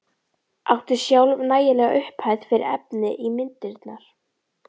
Átti sjálf nægilega upphæð fyrir efni í myndirnar.